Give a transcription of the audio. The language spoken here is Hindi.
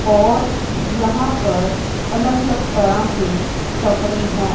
और यहां पर अलग अलग तरह के कपड़े हैं।